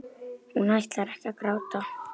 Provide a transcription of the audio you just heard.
Hún ætlar ekki að gráta.